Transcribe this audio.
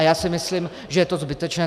A já si myslím, že je to zbytečné.